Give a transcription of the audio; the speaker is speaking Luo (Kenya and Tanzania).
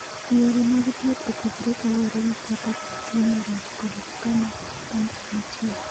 Yore mag thieth opogore kaluwore gi kaka tuwono rach kod kama kansa nitie.